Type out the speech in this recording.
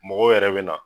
Mɔgɔw yɛrɛ bɛ na